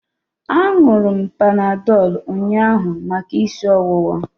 Aṅụru m Panadọlụ ụnyaahụ maka isi ọwụwa.